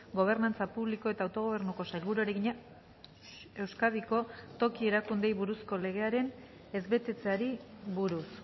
gobernantza publiko eta autogobernuko sailburuari egina euskadiko toki erakundeei buruzko legearen ez betetzeari buruz